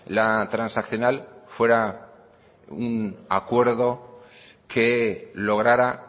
la transaccional fuera un acuerdo que lograra